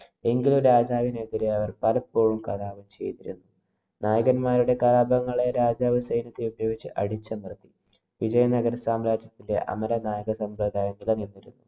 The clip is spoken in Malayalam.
എങ്കിലും രാജാവിനെതിരെ അവര്‍ പലപ്പോഴും കലാപം ചെയ്തിരുന്നു. നായകന്മാരുടെ കലാപങ്ങളെ രാജാവ്‌ സൈന്യത്തെ ഉപയോഗിച്ച് അടിച്ചമര്‍ത്തി. വിജയനഗരസാമ്രാജ്യത്തിലെ അമര നായക